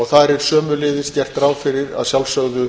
þar er sömuleiðis gert ráð fyrir að sjálfsögðu